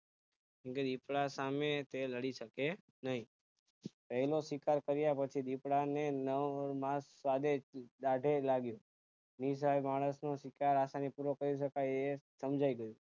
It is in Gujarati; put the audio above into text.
દીપડા સામે તે લાડીશકે નહિ પહેલો શોકાર કાર્ય પછી દીપડાને ઓર માસ સ્વાદિષ્ટ દાઢે લાગ્યું નિસહાય માણસનો શિકાર આસાની પૂર્વક કરી શકાય એ સમજાય ગયું